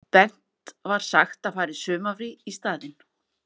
Bent var sagt að fara í sumarfrí í staðinn.